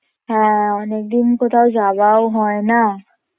হ্যাঁ অনেকদিন কোথাও যাওয়াও হয় না